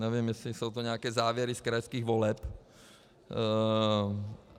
Nevím, jestli jsou to nějaké závěry z krajských voleb.